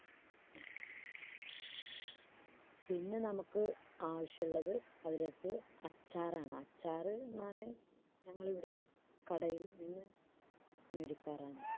പിന്നെ നമുക്ക് ആവശ്യള്ളത് അതിലേക്ക് അച്ചാറാണ് അച്ചാറ് ഞാന് family യുടെ കടയിൽ നിന്ന് മേടിക്കാറാണ്.